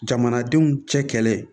Jamanadenw cɛ kɛlɛ